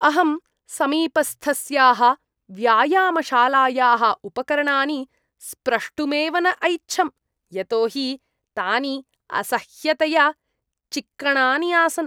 अहं समीपस्थस्याः व्यायामशालायाः उपकरणानि स्प्रष्टुमेव न ऐच्छम्, यतो हि तानि असह्यतया चिक्कणानि आसन्।